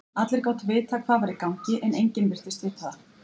Allir gátu vitað hvað var í gangi, en enginn virtist vita það.